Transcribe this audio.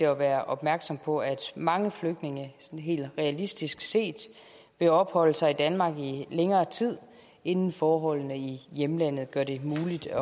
at være opmærksom på at mange flygtninge helt realistisk set vil opholde sig i danmark i længere tid inden forholdene i hjemlandet gør det muligt at